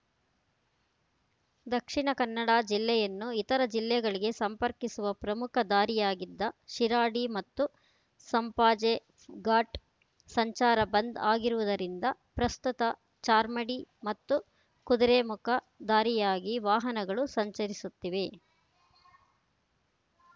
ದಕ್ಷಿಣ ಕನ್ನಡ ಜಿಲ್ಲೆಯನ್ನು ಇತರ ಜಿಲ್ಲೆಗಳಿಗೆ ಸಂಪರ್ಕಿಸುವ ಪ್ರಮುಖ ದಾರಿಯಾಗಿದ್ದ ಶಿರಾಡಿ ಮತ್ತು ಸಂಪಾಜೆ ಘಾಟ್‌ ಸಂಚಾರ ಬಂದ್‌ ಆಗಿರುವುದರಿಂದ ಪ್ರಸ್ತುತ ಚಾರ್ಮಾಡಿ ಮತ್ತು ಕುದುರೆಮುಖ ದಾರಿಯಾಗಿ ವಾಹನಗಳು ಸಂಚರಿಸುತ್ತಿವೆ